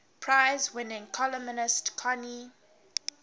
prize winning columnist connie